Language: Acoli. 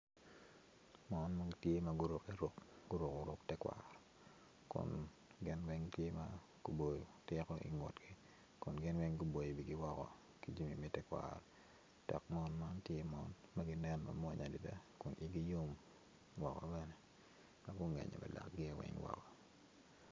Mon ma gitye guruku ruk te kwaro kun gin weny gitye ma gurku tiko i ngutgi kun gin weny guboyo wigi woko ki jami me tekwaro dok mon man gitye ma ginen mwonya adida kun igi yow woko bene dok gungenyo wa lakgi weny woko